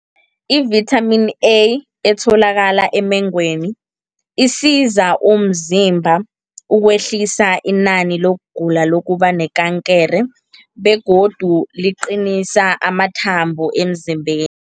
I-vitamin A, etholakala emengweni, isiza umzimba ukwehlisa inani lokugula lokuba nekankere, begodu liqinisa amathambo emzimbeni.